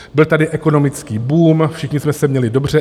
Byl tady ekonomický boom, všichni jsme se měli dobře.